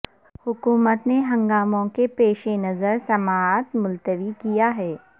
حکومت نے ہنگاموں کے پیش نظر سماعت ملتوی کیا ہے